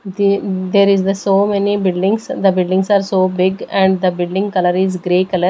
The there is the so many buildings the building are so big and the building color is grey color.